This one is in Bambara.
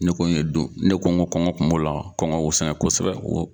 Ne ko ye don ne ko nko kɔngɔ kun b'o la, kɔngɔ y'o sɛgɛn kosɛbɛ